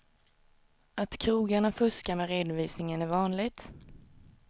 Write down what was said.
Att krogarna fuskar med redovisningen är vanligt.